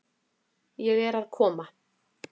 Ég er að koma.